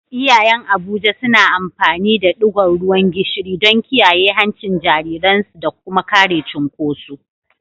Iyayen Abuja suna amfani da digon ruwan gishiri don kiyaye hancin jariransu da kuma kare cunkoso.